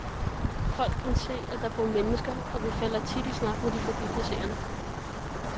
Folk kan se, at der bor mennesker, og vi falder tit i snak med de forbipasserende.